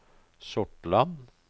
Sortland